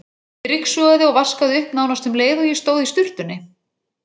Ég ryksugaði og vaskaði upp nánast um leið og ég stóð í sturtunni.